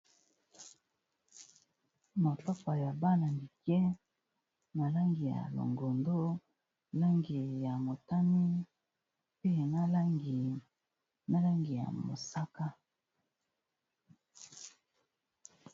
Mapapa ya bana mike na langi ya longondo, langi ya motani, pe na langi ya mosaka.